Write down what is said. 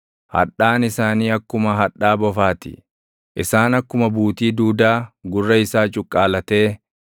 Hadhaan isaanii akkuma hadhaa bofaa ti; isaan akkuma buutii duudaa gurra isaa cuqqaalatee